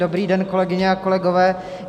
Dobrý den, kolegyně a kolegové.